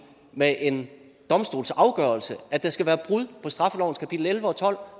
med en domstolsafgørelse at der skal være brud på straffelovens kapitel elleve og tolv